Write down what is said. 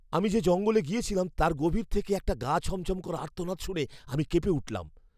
আমি যে জঙ্গলে গিয়েছিলাম, তার গভীর থেকে একটি গা ছমছম করা আর্তনাদ শুনে আমি কেঁপে উঠলাম!